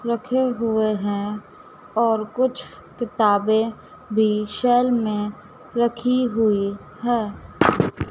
रखे हुए हैं और कुछ किताबें भी शैल में रखी हुई है।